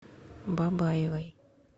бабаевой